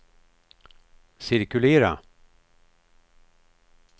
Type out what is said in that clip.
cirkulera